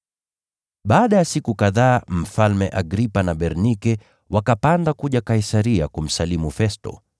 Baada ya siku kadhaa Mfalme Agripa na Bernike wakapanda kuja Kaisaria kumsalimu Festo.